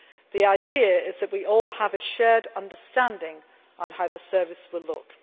The idea is that we all have a shared understanding on how the Service will look.